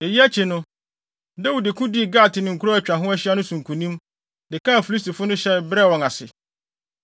Eyi akyi no, Dawid ko dii Gat ne nkurow a atwa ho ahyia no so nkonim, de kaa Filistifo no hyɛe, brɛɛ wɔn ase.